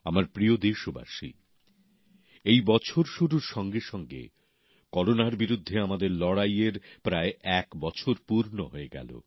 আমার প্রিয় দেশবাসী এই বছর শুরুর সঙ্গে সঙ্গে করোনার বিরুদ্ধে আমাদের লড়াইয়ের প্রায় এক বছর পূর্ণ হয়ে গেল